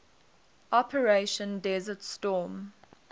operation desert storm